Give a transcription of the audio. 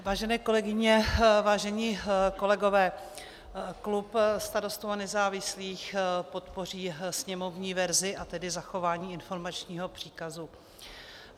Vážené kolegyně, vážení kolegové, klub Starostů a nezávislých podpoří sněmovní verzi, a tedy zachování informačního příkazu.